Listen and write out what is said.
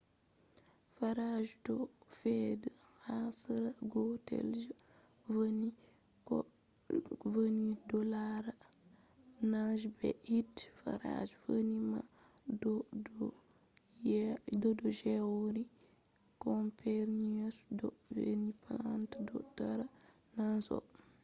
phases ɗo fe’a ha sera gotel je venus ko je leuru ɗo lara nange be hiite. phases venus man ɗo do theory copernicus do vi’ugo planets ɗo tara nange on